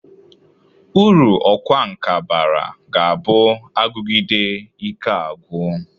Uru ọkwa nka bara ga-abụ agụgide ike agwọ.